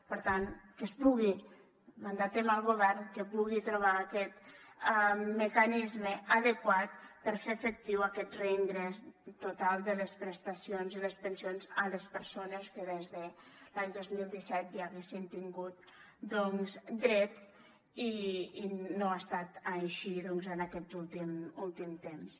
per tant que es pugui mandatar al govern que pugui trobar aquest mecanisme adequat per fer efectiu aquest reingrés total de les prestacions i les pensions a les persones que des de l’any dos mil disset hi haguessin tingut dret i no ha estat així en aquest últim temps